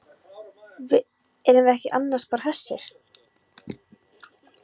Erum við ekki annars bara hressir?